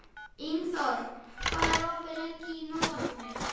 Ingiþór, hvað er opið lengi í Nóatúni?